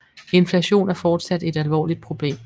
Inflationen er fortsat et alvorligt problem